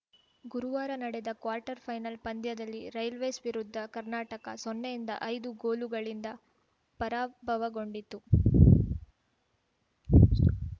ಗುರುವಾರ ನಡೆದ quarter final ಪಂದ್ಯದಲ್ಲಿ ರೈಲ್ವೇಸ್‌ ವಿರುದ್ಧ ಕರ್ನಾಟಕ ಸೊನ್ನೆಯಿಂದಐದು ಗೋಲುಗಳಿಂದ ಪರಾಭವಗೊಂಡಿತು